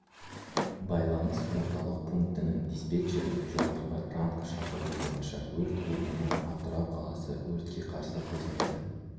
байланыс орталық пунктінің диспетчері жоғарғы ранг шақыруы бойынша өрт орнына атырау қаласы өртке қарсы қызметі